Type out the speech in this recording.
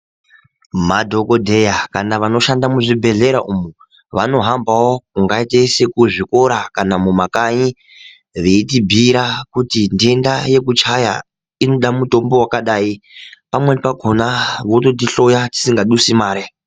Madhokodheya kana vanoshanda muzvibhedhlera umwo vanohambawo kungaite sekuzvikora kana mumakanyi veitibhiira kuti ntenda yekuchaya inoda mutombo wakadai, pamweni pakhona vototi hloya tisinga dusi mare.